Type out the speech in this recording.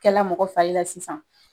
Kɛ la mɔgɔ fari la sisan